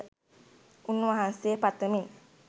උන්වහන්සේ පතමින්